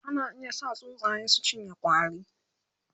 ana iya sa tsuntsaye su cinye ƙwari